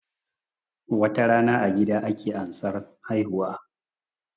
Watarana a gida ake ansan haihuwa